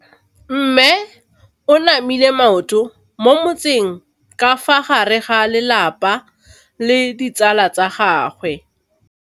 Mme o namile maoto mo mmetseng ka fa gare ga lelapa le ditsala tsa gagwe.